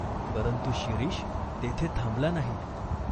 परंतु शिरीष तेथे थांबला नाही.